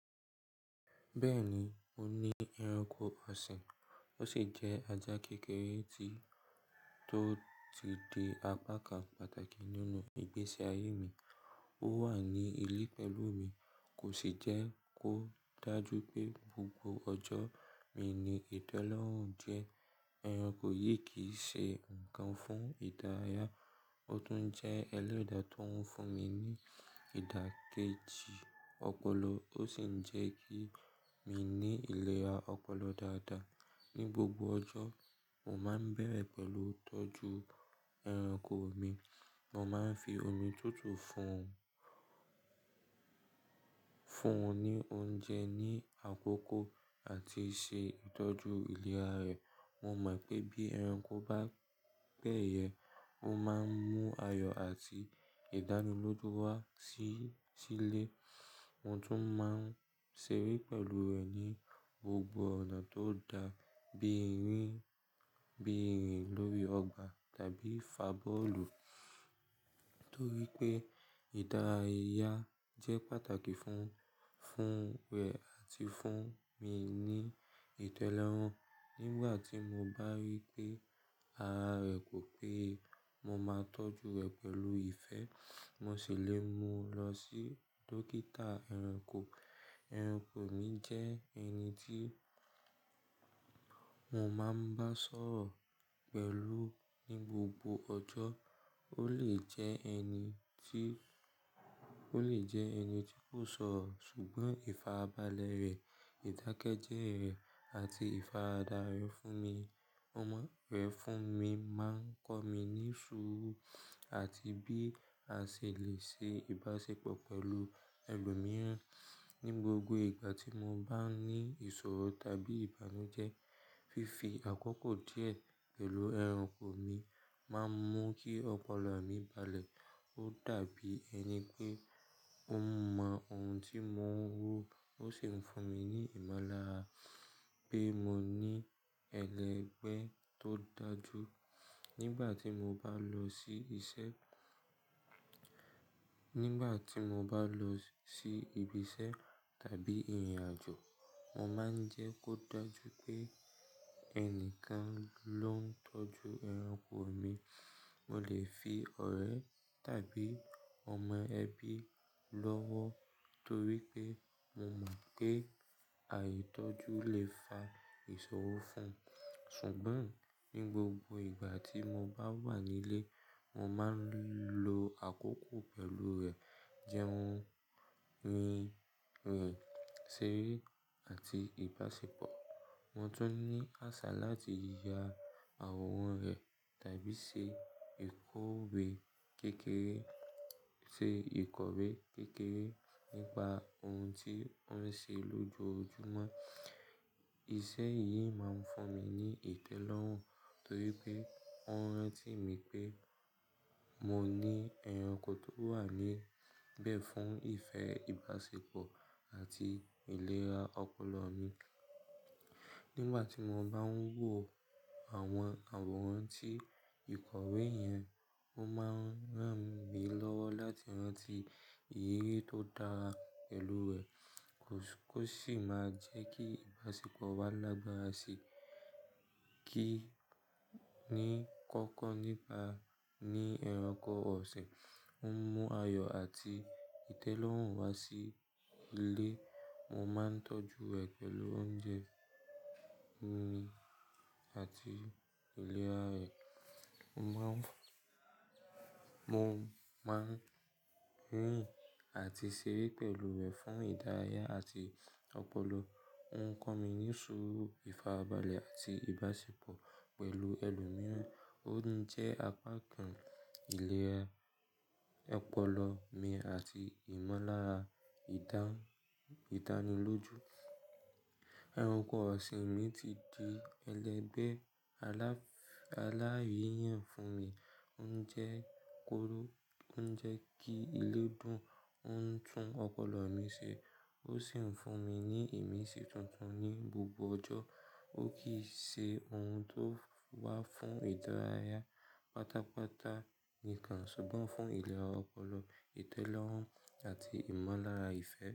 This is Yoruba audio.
Bẹ́ẹ̀ni, mo ní ẹranko ọ̀sìn, ó sì jẹ́ ajá kékeré tó ti di apá kan pàtàkì nínú ìgbésí ayé mi. Ó wà ní ilé pẹ̀lú mi, kò sì jẹ́ kó dájú pé gbogbo ọjọ́ mi ni ìtẹ́lọ́rùn jẹ. Ẹranko yìí kì í ṣe ǹkan fúnn ìdárayá, ó tún jẹ́ ẹlẹ́dà tó ń fún mi ní ìdákẹ́jì ọpọlọ, ó sì ń jẹ́ kí mi ní ìlera ọpọlọ dáadáa. Ni gbogbo ọjọ́, mo máa ń bẹ̀rẹ̀ pẹ̀lú tọ́jú ẹranko mi. Mo máa ń fi omi tútù fún, fún ní oúnjẹ ní àkókò àti ṣe ìtọ́jú ìlera rẹ̀. Mo mọ̀ pé bí ẹranko bá gbẹ́yẹ̀ẹ́, ó máa ń mú ayọ̀ àti ìdánilójú wá sí, sílé. Mo tún máa ń ṣeré pẹ̀lú rẹ̀ ní gbogbo ọ̀nà tó da, bí i rìn, bí i rìn lórí ọgbà tàbí fà bọ́ọ̀lù. Nítorí pé ìdárayá jẹ́ pàtàkì fún, fún rẹ̀ àti fún mi ní ìtẹ́lọ́rùn. Nígbà tí mo bá rí pé ara rẹ̀ kò pé, mo máa ń tọ́jú rẹ̀ pẹ̀lú ìfẹ́. Mo sì lè mú lọ sí dókítà ẹranko. Ẹranko mi jẹ́ ẹni tí mo máa ń bá sọ̀rọ̀ pẹ̀lú ní gbogbo ọjọ́. Ó lè jẹ́ ẹni tí, ó lè jẹ́ ẹni tí kò sọ̀rọ̀ ṣùgbọ́n ìfarabalẹ̀ rẹ̀, ìdákẹ́jẹ́ rẹ̀ àti ìfáradá rẹ̀ fún mi, ọmọ rẹ̀ fún mi máa ń kọ́ mi níṣúrù àti bí a ṣè lè ṣe ìbáṣepọ̀ pẹ̀lú ẹlòmíràn. Ni gbogbo ìgbà tí mo bá ní ìṣòro tàbí ìbànújẹ́, fífi àkókò díẹ̀ pẹ̀lú ẹranko mi máa ń mú kí ọpọlọ mi balẹ̀. Ó dàbí ẹni pé ó mọ ohun tí mò ń wò ó sì ń fún mi ní ìmọ̀lára pé mo ní ẹlẹgbẹ́ tó dájú. Nígbà tí mo bá lọ sí iṣẹ́, nígbà tí mo bá lọ sí ibi iṣẹ́ tàbí ìrìnàjò, mo máa ń jẹ́ kó dájú pé ẹnìkan ló ń tọ́jú ẹranko mi. Mo lè fi ọ̀rẹ́ tàbí ọmọ ẹbí lọ́wọ́ torí pé mo mọ̀ pé àìtọ́jú lè fa ìṣòro fún. Ṣùgbọ́n ní gbogbo ìgbà tí mo bá wà nílé, mo máa ń lo àkókò pẹ̀lú rẹ̀, jẹun, rìn, rìn, ṣeré àti ìbáṣepọ̀. Mo tún ní àṣà láti ya àwòrán rẹ̀ tàbí ṣe ìkọ̀wé kékeré, ṣe ìkọ̀wé kékeré nípa ohun tí ó ń ṣe lójoojúmọ́. Iṣẹ́ yìí máa ń fún mi ní ìtẹ́lọ́rùn torí pé ó ń rántí mi pé mo ní ẹranko tó wà níbẹ̀ fún ìfẹ́, ìbáṣepọ̀ àti ìlera ọpọlọ mi. Nígbà tí mo bá ń wò àwọn àwòrán tí ìkọ̀wé yẹn, ó máa ń rán mi lọ́wọ́ láti rántí ìyì tó dára pelú rẹ̀. Kò, kò sì máa jẹ́ kí ìbáṣepọ̀ wa lágbára sí i. Kí í ní kókó nípa ní ẹranko ọ̀sìn, ó ń mú ayọ̀ àti ìtẹ́lọ́rùn wá sí ilé. Mo máa ń tọ́jú rẹ̀ pẹ̀lú oúnjẹ, omi àti ìlera rẹ̀. Mo máa ń, mo máa ń rìn àti ṣeré pẹ̀lú rẹ̀ fún ìdárayá àti ọpọlọ. Ó ń kọ́ mi níṣúrù, ìfarabalẹ̀ àti ìbáṣepọ̀ pẹ̀lú ẹlòmíràn. Ó ń jẹ́ apá kan ìlera ọpọlọ mi àti ìmọ̀lára ìdán, ìdánilójú. Ẹranko ọ̀sìn mi ti di ẹlẹgbẹ́ alá, aláyẹ̀yẹ́ fún mi. Ó ń jẹ́ kóró, ó ń jẹ́ kí ìlẹ́ dùn, ó ń tún ọpọlọ mi ṣe, ó sì ń fún mi ní ìmísí tuntun ní gbogbo ọjọ́. Ó kì í ṣe ohun tó wà fún ìdárayá pátápátá nìkan ṣùgbọ́n fún ìlera ọpọlọ, ìtẹ́lọ́rùn àti ìmọ̀lára ìfẹ́.